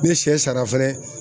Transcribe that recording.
Ne sɛ sara fɛnɛ